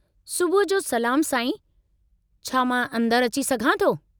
सुबुह जो सलामु साईं, छा मां अंदरि अची सघां थो?